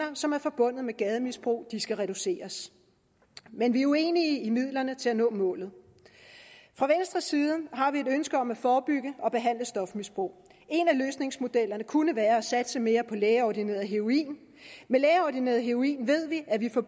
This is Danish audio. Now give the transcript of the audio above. som er forbundet med gademisbrug skal reduceres men vi er uenige i midlerne til at nå målet fra venstres side har vi et ønske om at forebygge og behandle stofmisbrug en af løsningsmodellerne kunne være at satse mere på lægeordineret heroin med lægeordineret heroin ved vi at vi får